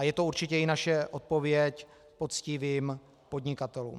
A je to určitě i naše odpověď poctivým podnikatelům.